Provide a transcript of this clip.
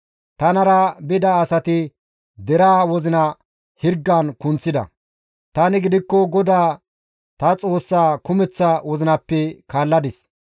Tanara bida asati deraa wozina hirgan kunththida; tani gidikko GODAA ta Xoossaa kumeththa wozinappe kaalladis.